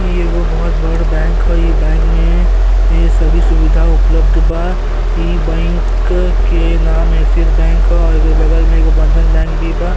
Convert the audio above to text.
इ एगो बहुत बड़ बैंक ह। इ बैंक में ए सभी सुविधा उपलब्ध बा। इ बैंक के नाम एक्सीस बैंक औ एकरे बगल में एगो बंधन बैंक भी बा।